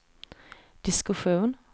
diskussion